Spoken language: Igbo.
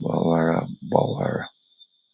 gbawara. gbawara.